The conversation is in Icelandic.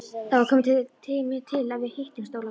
Það var kominn tími til að við hittumst, Ólafur.